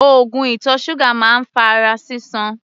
Oògùn ìtọ̀ ṣúgà máa ń fa ara sísan.